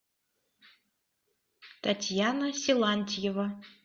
татьяна силантьева